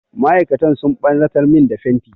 Ma'aikatan sun ɓarnatar min da fenti.